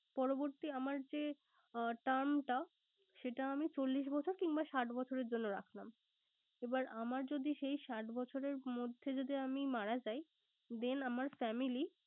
পরবর্তী আমার যে term টা সেটা আমি চল্লিশ বছর কিংবা ষাট বছরের জন্য রাখলাম। এবার আমার যদি সেই ষাট বছরের মধ্যে যদি আমি মারা যাই, then আমার family